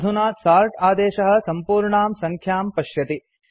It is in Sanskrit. अधुना सोर्ट् आदेशः सम्पूर्णां सङ्ख्यां पश्यति